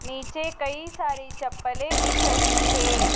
नीचे कई सारी चप्पलें दिख रही है।